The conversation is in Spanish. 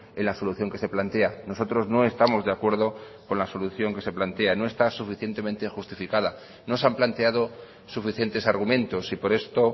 en la solución que se plantea nosotros no estamos de acuerdo con la solución que se plantea no está suficientemente justificada no se han planteado suficientes argumentos y por esto